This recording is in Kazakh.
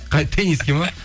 қай тениске ме